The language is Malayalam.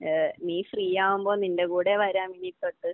ഏഹ് നീ ഫ്രീ ആകുമ്പോൾ നിന്റെ കൂടെ വരാം ഇനി തൊട്ട്.